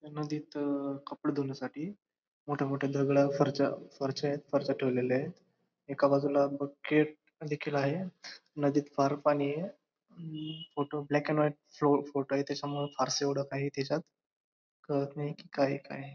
नदीत कपडे धुण्यासाठी मोठे मोठे दगड फरशा फरशा यत. फरशा ठेवलेल्या यत एका बाजूला बकेट देखील आहेत नदीत फार पाणीये photo black and white photo य त्याच्यामुळे फारस एवढ काही त्याच्यात कळत नाही कि काय काय आहे.